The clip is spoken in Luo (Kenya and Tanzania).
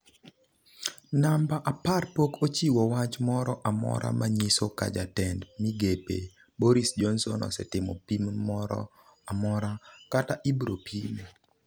Namba apar pok ochiwo wach moro amora manyiso ka Jatend migepe Boris Johnson osetimo pim moro amora, kata ibiropime.